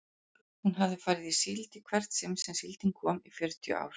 Hún hafði farið í síld í hvert sinn sem síldin kom í fjörutíu ár.